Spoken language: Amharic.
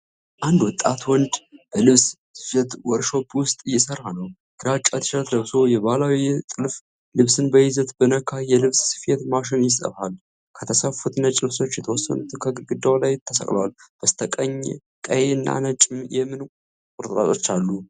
አንድ ወጣት ወንድ በልብስ ስፌት ወርክሾፕ ውስጥ እየሠራ ነው። ግራጫ ቲሸርት ለብሶ የባህላዊ የጥልፍ ልብስን በዘይት በነካ የልብስ ስፌት ማሽን ይሠፋል። ከተሰፉት ነጭ ልብሶች የተወሰኑት ከግድግዳው ላይ ተሰቅለዋል። በስተቀኝ ቀይ እና ነጭ የምን ቁርጥራጮች አሉ?